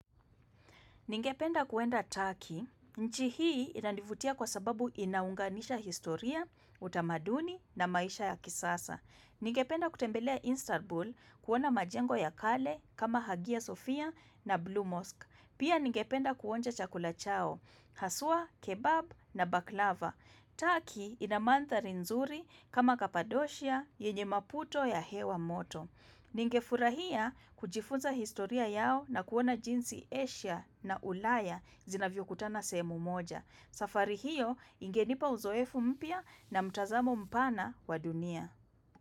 Ningependa kwenda Turkey, nchi hii inanivutia kwa sababu inaunganisha historia, utamaduni na maisha ya kisasa. Ningependa kutembelea Instabul kuona majengo ya kale kama Hagia Sophia na blue Mosque. Pia ningependa kuonja chakula chao, haswaa, kebab na baklava. Turkey ina mandhali nzuri kama Kapadocia, yenye maputo ya hewa moto. Ningefurahia kujifunza historia yao na kuona jinsi Asia na ulaya zinavyokutana sehemu moja. Safari hiyo ingenipa uzoefu mpya na mtazamo mpana wa dunia.